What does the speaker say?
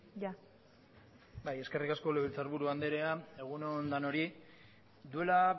itxaron orain bai eskerrik asko legebiltzarburu andrea egun on denoi duela